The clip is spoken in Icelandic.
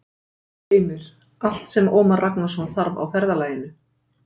Heimir: Allt sem Ómar Ragnarsson þarf á ferðalaginu?